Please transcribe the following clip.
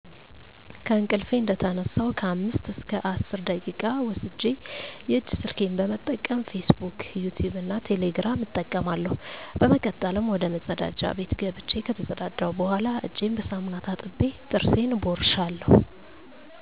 ከእንቅልፊ እንደተነሳሁ ከአምስት እስከ አስር ደቂቃ ወስጀ የእጅ ስልኬን በመጠቀም "ፊስ ቡክ" ፣"ዩቲቭ" እና "ቴሌግራም" እጠቀማለሁ። በመቀጠልም ወደመጸዳጃ ቤት ገብቸ ከተጸዳዳሁ በኋላ እጀን በሳሙና ታጥቤ ጥርሴን እቦርሻለሁ።